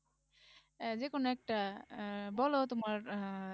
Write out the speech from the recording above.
আহ যেকোনো একটা আহ বলো তোমার আহ